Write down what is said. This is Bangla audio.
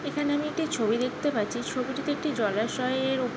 এখানে আমি একটি ছবি দেখতে পারছি ছবিটিতে একটি জলাশয়ের উপ--